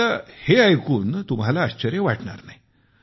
आता हे ऐकून तुम्हाला आश्चर्य वाटणार नाही